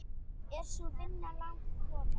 Er sú vinna langt komin.